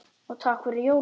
Og takk fyrir jólin.